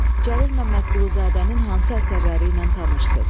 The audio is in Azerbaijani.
Cəlil Məmmədquluzadənin hansı əsərləri ilə tanışsız?